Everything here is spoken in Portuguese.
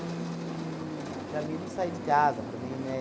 para mim, não sair de casa, para mim, né?